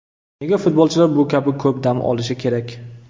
Nega futbolchilar bu kabi ko‘p dam olishi kerak?